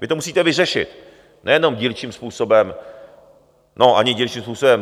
Vy to musíte vyřešit, nejenom dílčím způsobem... no ani dílčím způsobem.